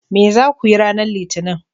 Me za ku yi ranar Litinin?